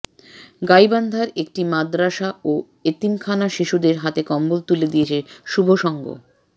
গাইবান্ধার একটি মাদরাসা ও এতিমখানার শিশুদের হাতে কম্বল তুলে দিয়েছে শুভসংঘ